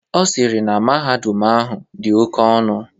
Ọ sịrị na mahadum ahụ dị oke ọnụ.